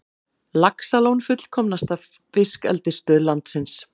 Laxalón fullkomnasta fiskeldisstöð landsins